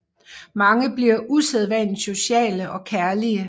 Mange bliver usædvanligt sociale og kærlige